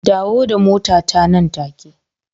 Dawo da motata nan take